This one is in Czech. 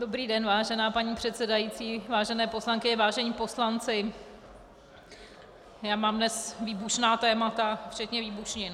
Dobrý den, vážená paní předsedající, vážené poslankyně, vážení poslanci, já mám dnes výbušná témata, včetně výbušnin.